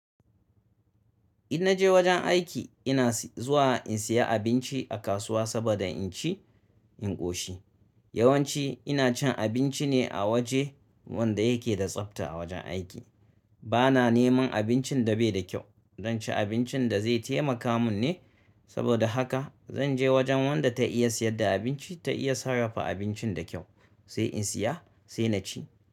Idan na je wajen aiki ina zuwa in saya abinci a kasuwa saboda in ci in ƙoshi. Yawanci ina cin abinci ne a waje wanda yake da tsafta a wajen aiki. Bana neman abincin da bai da kyau. Zan ci abincin da zai taimaka mun ne saboda haka zan je wajen wadda ta iya sayar da abinci ta iya sarrafa abincin da kyau sai in siya sai na ci.